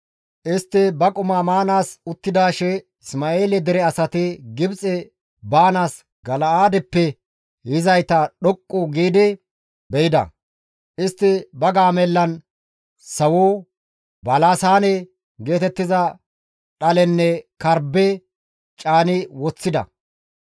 Istti ba qumaa maanaas uttidaashe Isma7eele dere asati Gibxe baanaas Gala7aadeppe yizayta dhoqqu giidi be7ida; istti ba gaamellan sawo, balasaane geetettiza dhalenne karbbe caani woththida.